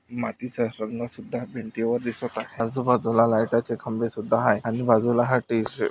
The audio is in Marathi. मातीचा स्वर्णसुद्धा भिंतीवर दिसत आहे आजूबाजूला लायटा चे खंबे सुद्धा आहे आणि बाजूला हा टी शर्ट --